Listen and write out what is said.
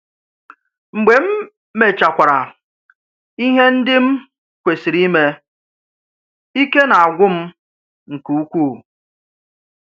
Mgbe m̀ mèchàkwàrà ihe ndị m̀ kwesìrì ímé, íkè na-àgwụ́ m̀ nke ukwu.